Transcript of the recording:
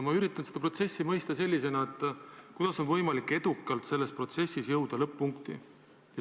Ma üritan mõista, kuidas on võimalik sellises protsessis edukalt jõuda lõpp-punkti.